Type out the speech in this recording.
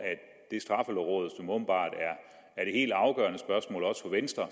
straffelovrådet som åbenbart er det helt afgørende spørgsmål også for venstre